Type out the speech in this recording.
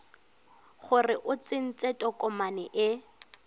gore o tsentse tokomane e